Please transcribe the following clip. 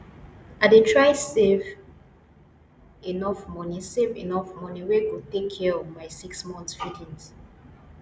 i dey try save enough money save enough money wey go take care of my 6 months feeding